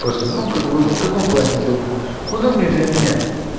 просто ну как бы в каком плане удобнее удобнее для меня